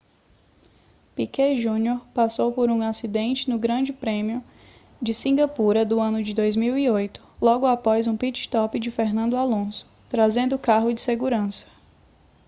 piquet jr passou por um acidente no grande prêmio de cingapura do ano de 2008 logo após um pit stop de fernando alonso trazendo o carro de segurança